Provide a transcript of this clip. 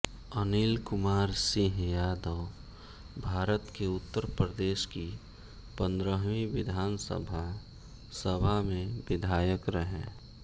अनिल कुमार सिंह यादवभारत के उत्तर प्रदेश की पंद्रहवी विधानसभा सभा में विधायक रहे